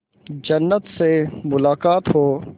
जन्नत से मुलाकात हो